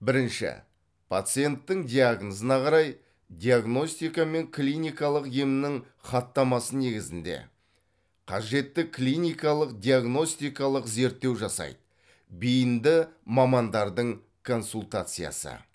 бірінші пациенттің диагнозына қарай диагностика мен клиникалық емнің хаттамасы негізінде қажетті клиникалық диагностикалық зерттеу жасайды бейінді мамандардың консультациясы